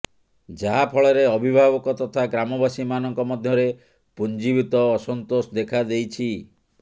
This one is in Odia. ଯାହାଫଳରେ ଅଭିଭାବକ ତଥା ଗ୍ରାମବାସୀ ମାନଙ୍କ ମଧ୍ୟରେ ପୁଞିଭୁତ ଅସନ୍ତୋଷ ଦେଖାଦେଇଛି